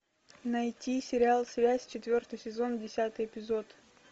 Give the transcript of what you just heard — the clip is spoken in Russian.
найти сериал связь четвертый сезон десятый эпизод